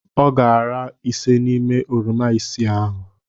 Ọ ga-ara ise n'ime oroma isii ahụ.